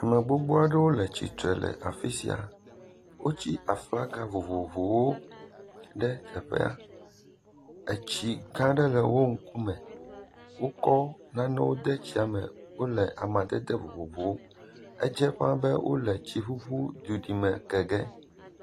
Ame gbogbo aɖewo le tsitre le afi sia, wotsi aflaga vovovowo ɖe teƒe ya, etsi gã aɖe le wo ŋkume, wokɔ nanewo de tsiame wole amadede vovovowo, edze fãa be wole tsiƒuƒu dudime ke ge.